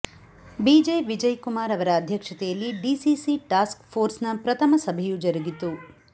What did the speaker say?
B J Vijay Kumar ಅವರ ಅಧ್ಯಕ್ಷತೆಯಲ್ಲಿ DCC task force ನ ಪ್ರಥಮ ಸಭೆಯು ಜರುಗಿತು